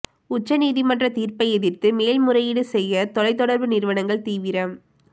உச்சநீதிமன்றத் தீர்ப்பை எதிர்த்து மேல்முறையீடு செய்ய தொலைத் தொடர்பு நிறுவனங்கள் தீவிரம்